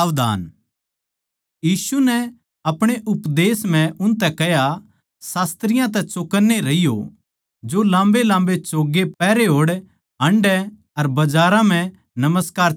यीशु नै आपणे उपदेश म्ह उनतै कह्या शास्त्रियाँ तै चौकन्ने रहियो जो लाम्बेलाम्बे चोगे पहरे होड़ हांडै अर बजारां म्ह नमस्कार चाहवैं सै